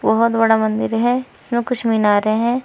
बहोत बड़ा मंदिर है इसमें कुछ मीनारें हैं।